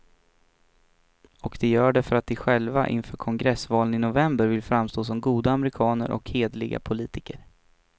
Och de gör det för att de själva inför kongressvalen i november vill framstå som goda amerikaner och hederliga politiker.